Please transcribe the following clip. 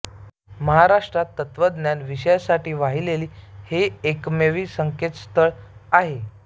महाराष्ट्रात तत्त्वज्ञान विषयासाठी वाहिलेले हे एकमेव संकेतस्थळ आहे